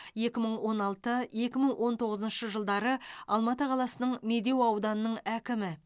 екі мың он алты екі мың он тоғызыншы жылдары алматы қаласының медеу ауданының әкімі